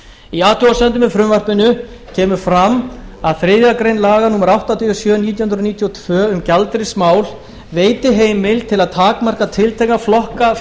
í athugasemdum með frumvarpinu kemur fram að þriðju grein laga númer áttatíu og sjö nítján hundruð níutíu og tvö um gjaldeyrismál veiti heimild til að takmarka tiltekna flokka